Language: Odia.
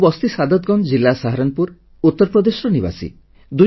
ମୁଁ ବସ୍ତୀ ସାଦତଗଞ୍ଜ ଜିଲ୍ଲା ସାହାରନପୁର ଉତ୍ତରପ୍ରଦେଶର ନିବାସୀ